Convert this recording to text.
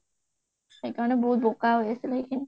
সেইকাৰণে বাহুত বোকা হৈ আচিল সেইখিনিত